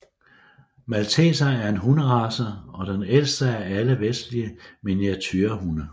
Malteser er en hunderace og den ældste af alle vestlige miniaturehunde